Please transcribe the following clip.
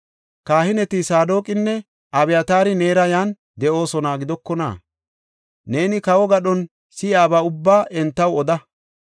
Kahineti Saadoqinne Abyataari neera yan de7oosona gidokona? Neeni kawo gadhon si7iyaba ubbaa entaw oda.